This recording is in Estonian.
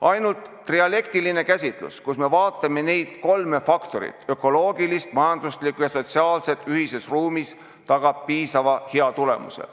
Ainult trialektiline käsitlus, kus me vaatleme neid kolme faktorit – ökoloogilist, majanduslikku ja sotsiaalset – ühises ruumis, tagab piisavalt hea tulemuse.